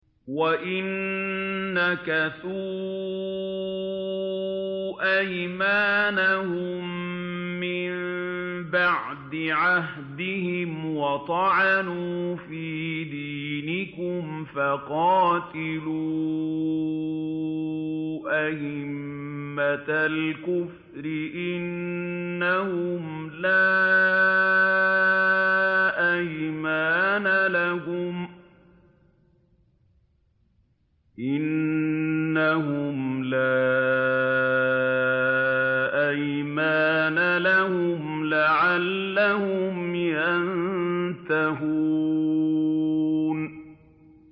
وَإِن نَّكَثُوا أَيْمَانَهُم مِّن بَعْدِ عَهْدِهِمْ وَطَعَنُوا فِي دِينِكُمْ فَقَاتِلُوا أَئِمَّةَ الْكُفْرِ ۙ إِنَّهُمْ لَا أَيْمَانَ لَهُمْ لَعَلَّهُمْ يَنتَهُونَ